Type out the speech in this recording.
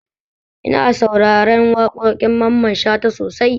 Ina sauraren waƙoƙin Mamman Shata sosai